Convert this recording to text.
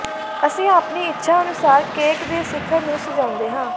ਅਸੀਂ ਆਪਣੀ ਇੱਛਾ ਅਨੁਸਾਰ ਕੇਕ ਦੇ ਸਿਖਰ ਨੂੰ ਸਜਾਉਂਦੇ ਹਾਂ